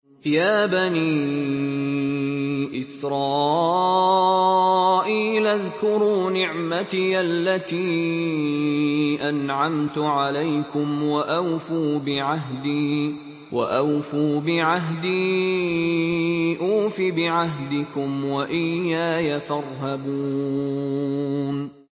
يَا بَنِي إِسْرَائِيلَ اذْكُرُوا نِعْمَتِيَ الَّتِي أَنْعَمْتُ عَلَيْكُمْ وَأَوْفُوا بِعَهْدِي أُوفِ بِعَهْدِكُمْ وَإِيَّايَ فَارْهَبُونِ